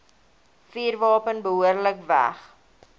vuurwapen behoorlik weg